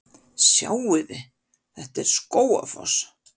Sjáiði! Þetta er Skógafoss.